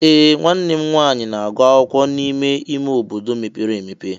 Ee! Nwanne m nwanyị na-agụ akwụkwọ n'ime ime obodo mepere emepe.